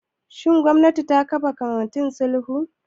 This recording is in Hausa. Shin gwamnati ta kafa kwamitin sulhu?